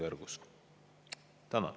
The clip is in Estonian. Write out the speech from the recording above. Tänan!